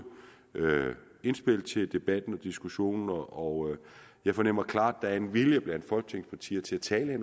indspil til debatten og diskussionen og jeg fornemmer klart at der er en vilje blandt folketingets partier til at tale i